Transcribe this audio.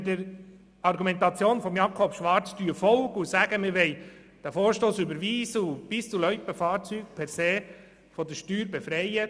Würde man der Argumentation von Grossrat Schwarz folgen und diesen Vorstoss überweisen, wären die Pisten- und Loipenfahrzeuge zugunsten des Tourismus von dieser Steuer befreit.